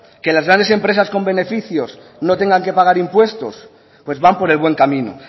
que las grandes empresas con beneficios no tengan que pagar impuestos pues van por el buen camino